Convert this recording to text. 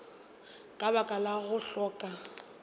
ka baka la go hloka